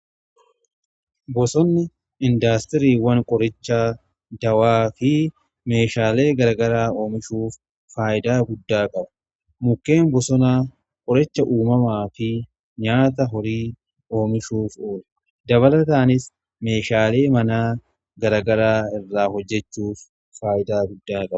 Bosonni indaastiriiwwan qoricha dawaa fi meeshaalee garagaraa oomishuuf faayidaa guddaa qaba mukkeen bosonaa qoricha uumamaa fi nyaata horii oomishuuf oola dabalataanis meeshaalee mana garagaraa irraa hojjechuuf faayidaa guddaa qaba.